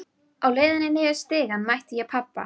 Á leiðinni niður stigann mæti ég pabba.